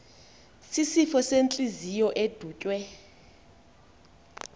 sisifo sentliziyo edutywe